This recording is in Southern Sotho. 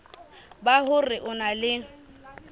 ba hore o na le